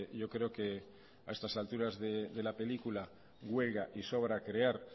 yo creo que a estas altura de la película huelga y sobra crear